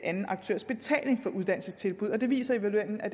anden aktørs betaling for uddannelsestilbud og det viser evalueringen at